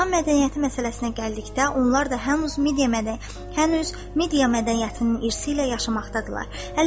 İran mədəniyyəti məsələsinə gəldikdə, onlar da hənuz media mədəniyyətinin irsi ilə yaşamaqdadırlar.